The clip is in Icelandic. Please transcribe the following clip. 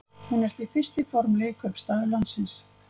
hún er því fyrsti formlegi kaupstaður landsins